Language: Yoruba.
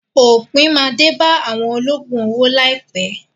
Òpin máa dé bá àwọn olóògùn owó láìpẹ́.